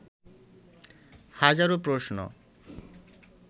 হাজারো প্রশ্ন